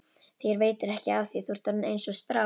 Þér veitir ekki af því, þú ert orðinn einsog strá.